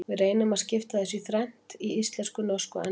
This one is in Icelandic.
Við reynum að skipta þessu í þrennt, í íslensku, norsku og ensku.